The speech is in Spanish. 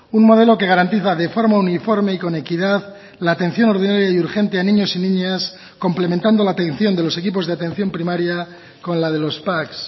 un modelo que garantiza de forma uniforme y con equidad la atención ordinaria y urgente a niños y niñas complementando la atención de los equipos de atención primaria con la de los pac